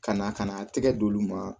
Ka na ka n'a tɛgɛ d'olu ma